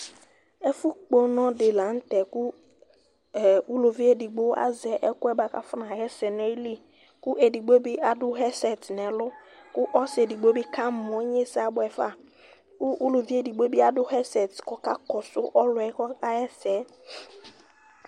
Ɛfʋ kpɔ ʋnɔ di la nʋtɛ kʋ ulivi edigbo azɛ ɛkʋ yɛ bʋakʋ afɔnaɣɛsɛdʋ nʋ ayili, kʋ ɔlʋ edigbo di adu vɛsɛtɩ nʋ ɛlʋ, kʋ ɔsɩ edigbo bɩ kamɔ; inyesɛ abʋɛfa Kʋ uluvi edigbo bɩ adu vɛsɛtɩ, kʋ ɔka kɔsʋ ɔlʋ yɛ kʋ ɔkaɣɛsɛ